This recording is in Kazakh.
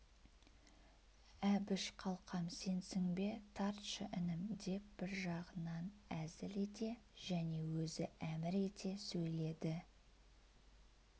әбіш қалқам сенсің бе тартшы інім деп бір жағынан әзіл ете және өзі әмір ете сөйледі